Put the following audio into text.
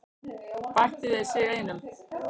Bættu við sig einum.